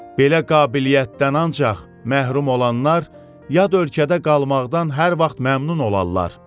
Belə qabiliyyətdən ancaq məhrum olanlar yad ölkədə qalmaqdan hər vaxt məmnun olarlar.